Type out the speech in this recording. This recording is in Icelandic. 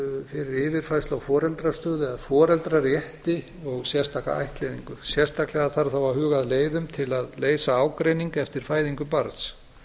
fyrir yfirfærslu á foreldrastöðu eða foreldrarétti og sérstaka ættleiðingu sérstaklega þarf þó að huga að leiðum til að leysa ágreining eftir fæðingu barns